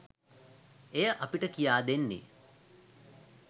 එය අපට කියා දෙන්නේ